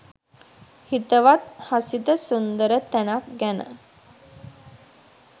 හිතවත් හසිත සුන්දර තැනක් ගැන